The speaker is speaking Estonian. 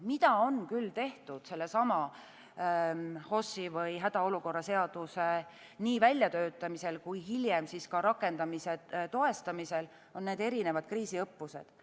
Mida on küll tehtud sellesama HOS-i või hädaolukorra seaduse nii väljatöötamisel kui hiljem rakendamisel, on erinevad kriisiõppused.